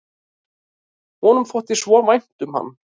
Honum þótti svo vænt um hann.